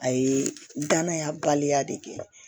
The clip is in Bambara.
A ye danaya baliya de kɛ